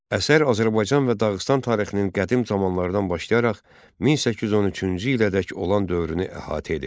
Əsər Azərbaycan və Dağıstan tarixinin qədim zamanlardan başlayaraq 1813-cü ilədək olan dövrünü əhatə edir.